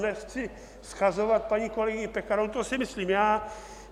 Nechci shazovat paní kolegyni Pekarovou, to si myslím já.